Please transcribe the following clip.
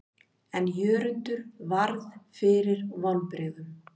En Jörundur varð fyrir vonbrigðum.